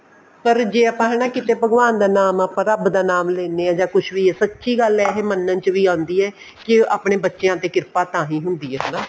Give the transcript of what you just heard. ਪਰ ਜੇ ਆਪਾਂ ਨੇ ਨਾ ਕੀਤੇ ਭਗਵਾਨ ਦਾ ਨਾਮ ਆਪਾਂ ਰੱਬ ਦਾ ਨਾਮ ਆਪਾਂ ਲੈਂਦੇ ਹਾਂ ਜਾਂ ਕੁੱਝ ਵੀ ਸੱਚੀ ਗੱਲ ਆ ਇਹ ਮੰਨਣ ਚ ਵੀ ਆਉਂਦੀ ਹੈ ਕੀ ਆਪਣੇ ਬੱਚਿਆਂ ਤੇ ਕਿਰਪਾ ਤਾਂਹੀਂ ਹੁੰਦੀ ਹੈ ਹਨਾ